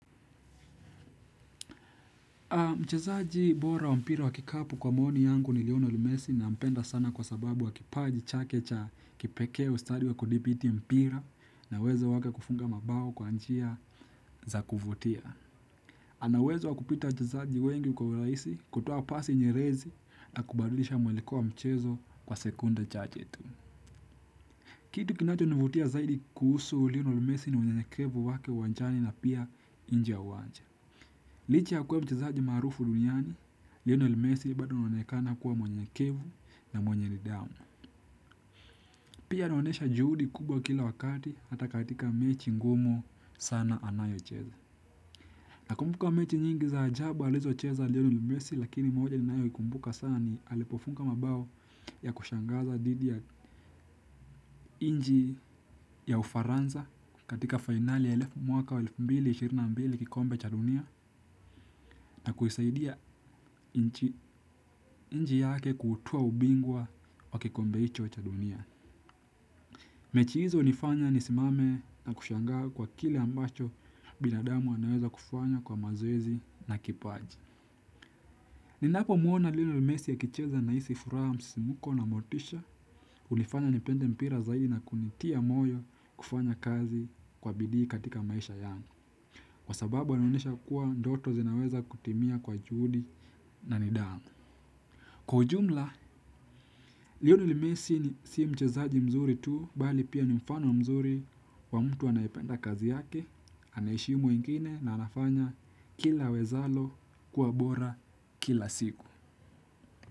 Mchezaji bora wa mpira wa kikapu kwa maoni yangu ni Leonard Messi nampenda sana kwa sababu wa kipaji chake cha kipekee ustadi wa kudhipiti mpira na uwezo wake kufunga mabao kwa njia za kuvutia. Ana uwezo wa kupita wachezaji wengi kwa urahisi kutoa pasi nyerezi na kubadilisha mwelekeo wa mchezo kwa sekunde chache tu. Kitu kinachonivutia zaidi kuhusu Leonard Messi ni unyenyekevu wake uwanjani na pia nje ya uwanja. Licha ya kuwa mchezaji maarufu duniani, Leonard Messi bado anaonekana kuwa mwenyekevu na mwenye nidhamu. Pia naonesha juhudi kubwa kila wakati hata katika mechi ngumu sana anayocheza. Nakumbuka mechi nyingi za ajabu alizocheza leonard Messi lakini moja ninayoikumbuka sana ni alipofunga mabao ya kushangaza dhidi ya nchi ya ufaransa katika fainali ya elfu mwaka wa elfu mbili ishirini na mbili kikombe cha dunia. Na kuisaidia nchi yake kutoa ubingwa wa kikombe hicho cha dunia. Mechi hizo hunifanya nisimame na kushangaa kwa kile ambacho binadamu anaweza kufanya kwa mazoezi na kipaji. Ninapomwona Leonard Messi akicheza nahisi furaha msisimko na motisha hunifanya nipende mpira zaidi na kunitia moyo kufanya kazi kwa bidii katika maisha yangu. Kwa sababu anaonesha kuwa ndoto zinaweza kutimia kwa juhudi na nidhamu. Kwa ujumla, Leonard Messi ni si mchezaji mzuri tu, bali pia ni mfano mzuri wa mtu anayependa kazi yake, anaheshimu wengine na anafanya kila awezalo kuwa bora kila siku.